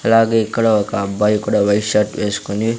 అలాగే ఇక్కడ ఒక అబ్బాయి కూడా వైట్ షర్ట్ వేసుకొని--